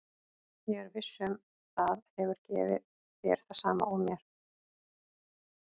Ég er viss um að það hefur gefið þér það sama og mér.